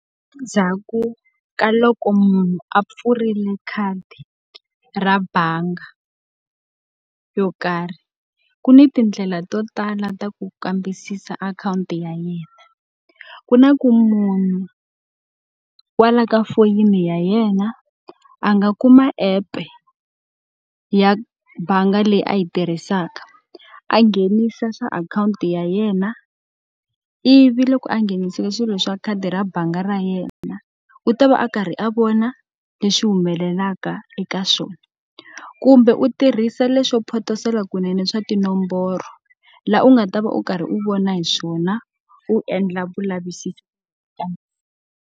Endzhaku ka loko munhu a pfurile khadi ra bangi yo karhi, ku ni tindlela to tala ta ku kambisisa akhawunti ya yena. Ku na ku munhu kwala ka foyini ya yena a nga kuma app-e ya bangi leyi a yi tirhisaka, a nghenisa swa akhawunti ya yena, ivi loko a nghenisile swilo swa khadi ra bangi ra yena u ta va a karhi a vona leswi humelelaka eka swona. Kumbe u tirhisa leswo photosela kunene swa tinomboro, laha u nga ta va u karhi u vona hi swona, u endla vulavisisi .